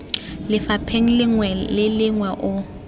lefapheng lengwe le lengwe o